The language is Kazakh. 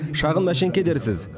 шағын мәшеңке дерсіз